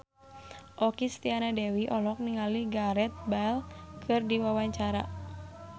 Okky Setiana Dewi olohok ningali Gareth Bale keur diwawancara